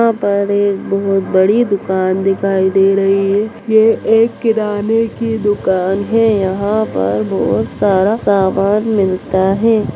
यहां पर एक बहुत बड़ी दुकान दिखाई दे रही है ये एक किराने की दुकान है यहां पर बहुत सारा सामान मिलता है।